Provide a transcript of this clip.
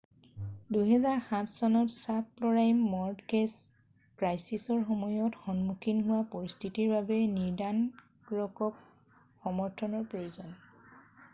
2007 চনত subprime mortgage ক্ৰাইছিছৰ সময়ত সন্মুখীন হোৱা পৰিস্থিতিৰ বাবে নৰ্ডাণ ৰকক সমৰ্থনৰ প্ৰয়োজন